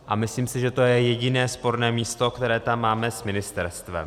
A myslím si, že to je jediné sporné místo, které tam máme s ministerstvem.